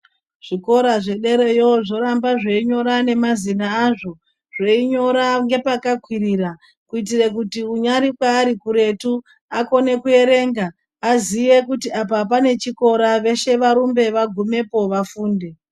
Zvikora zvederayo zvoramba zveinyora nemazina azvo zveinyora ngepakakwirira zveinyora ngepakakwirira kuitira kuti unyari kwaari kuretu akone kuerenga aziye kuti apa pane chikora veshe varumbe vagumepo vafunde.